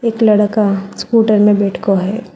एक लड़का स्कूटर में बैठ को है।